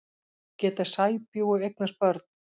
Geta sæbjúgu eignast börn?